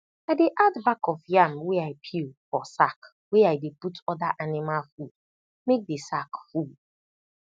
i dey add bak of yam wey i peel for sack wey i dey put oda anima food make di sack full